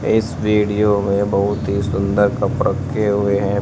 इस वीडियो में बहुत ही सुंदर कप रखे हुए हैं।